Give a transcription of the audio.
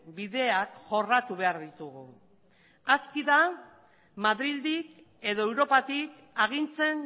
bideak jorratu behar ditugu aski da madrildik edo europatik agintzen